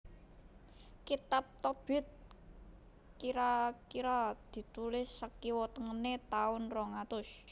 Kitab Tobit kira kira ditulis sakiwa tengené taun rong atus